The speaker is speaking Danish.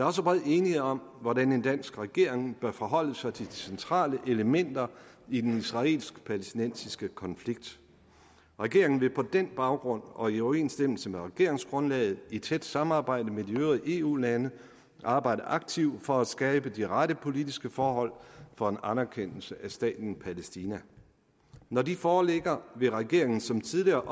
også bred enighed om hvordan en dansk regering bør forholde sig til de centrale elementer i den israelsk palæstinensiske konflikt regeringen vil på den baggrund og i overensstemmelse med regeringsgrundlaget i tæt samarbejde med de øvrige eu lande arbejde aktivt for at skabe de rette politiske forhold for en anerkendelse af staten palæstina når de foreligger vil regeringen som tidligere